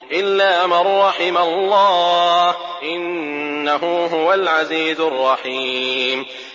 إِلَّا مَن رَّحِمَ اللَّهُ ۚ إِنَّهُ هُوَ الْعَزِيزُ الرَّحِيمُ